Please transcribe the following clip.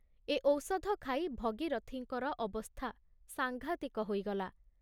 ଏ ଔଷଧ ଖାଇ ଭଗୀରଥଙ୍କର ଅବସ୍ଥା ସାଂଘାତିକ ହୋଇଗଲା।